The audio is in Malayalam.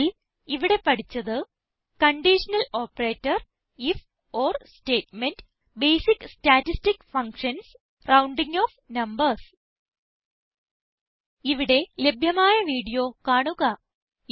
ചുരുക്കത്തിൽ ഇവിടെ പഠിച്ചത് conditional operator if or statement basic statistic functions rounding off numbers ഇവിടെ ലഭ്യമായ വീഡിയോ കാണുക